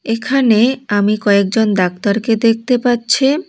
এখানে আমি কয়েকজন ডাক্তারকে দেখতে পাচ্ছি।